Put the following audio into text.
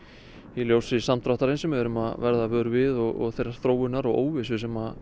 í ljósi samdráttarins sem við við erum að verða vör við og þeirrar þróunar og óvissu sem